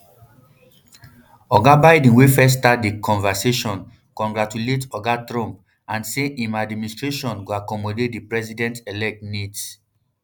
oga biden wey first start di conversation congratulate oga trump and say im administration go accommodate di presidentelect needs